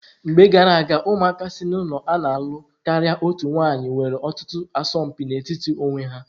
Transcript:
Mgbe gara aga, ụmụaka si n'ụlọ a na-alụ karịa otu nwanyị nwere ọtụtụ asọmpi n'etiti onwe ha.